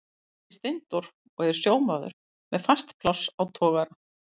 Hann heitir Steindór og er sjómaður með fast pláss á togara.